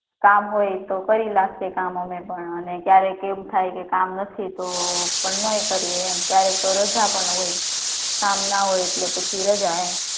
કામ હોય તો કરી નાખીએ કામ અમે પણ અને ક્યારેક એમ થાય કે કામ નથી તો પણ ના એ કરીએ એમ ક્યારેક તો રજા પણ હોય કામ ના હોય એટલે પછી રજા એમ